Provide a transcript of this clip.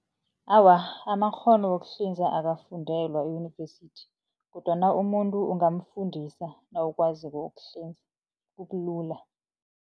Awa, amakghono wokuhlinza akafundelwa eyunivesithi kodwana umuntu ungamfundisa nawukwaziko ukuhlinza kubulula.